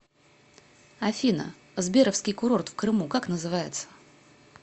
афина сберовский курорт в крыму как называется